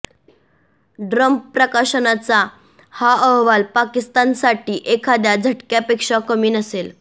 Trump प्रशासनाचा हा अहवाल पाकिस्तानसाठी एखाद्या झटक्यापेक्षा कमी नसेल